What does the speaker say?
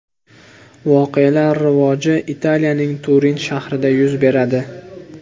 Voqealar rivoji Italiyaning Turin shahrida yuz beradi.